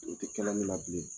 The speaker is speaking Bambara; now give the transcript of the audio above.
O tɛ kɛla ne la bilen